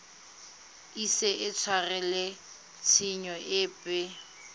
ise a tshwarelwe tshenyo epe